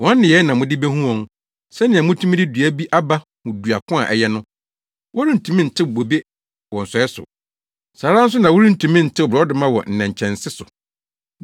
Wɔn nneyɛe na mode behu wɔn, sɛnea mutumi de dua bi aba hu dua ko a ɛyɛ no. Worentumi ntew bobe wɔ nsɔe so; saa ara nso na worentumi ntew borɔdɔma wɔ nnɛnkyɛnse so.